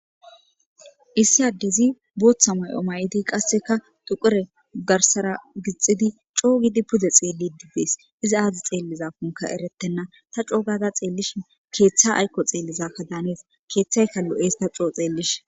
Issi addezi booththa mayo may'idi qassekka xequre garssara gixxidi co gidi pude dees. Izi aazi xeelizankkokka eretena. Ta coo gada xeelishin keeththa aykko xeelidankka daanees. keethaykka lo'es ta co xeelishin.